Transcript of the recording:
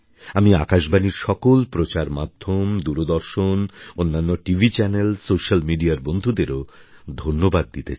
আমি আকাশবাণীর সকল প্রচার মাধ্যম দূরদর্শন অন্যান্য টিভি চ্যানেল সোশিয়াল mediaর বন্ধুদেরও ধন্যবাদ দিতে চাই